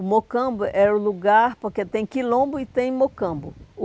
O Mocambo era o lugar, porque tem Quilombo e tem Mocambo.